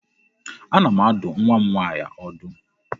Ana m adụ nwa m nwaanyị ọdụ.